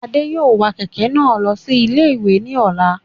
Adé yóò wa kẹ̀kẹ́ náà lọ sí ilé-ìwé ní ọ̀la